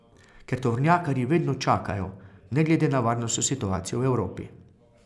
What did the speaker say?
Ker tovornjakarji vedno čakajo, ne glede na varnostno situacijo v Evropi.